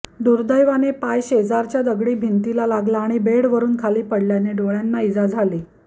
दुर्दैवाने पाय शेजारच्या दगडी िभतीला लागला आणि बेडवरून खाली पडल्याने डोळ्यांना इजा झाली